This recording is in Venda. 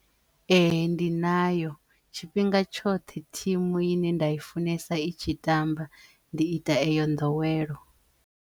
Ehe ndi nayo tshifhinga tshoṱhe thimu i ne nda i funesa i tshi tamba ndi ita eyo nḓowelo.